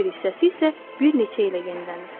digər bir hissəsi isə bir neçə ilə yenilənir.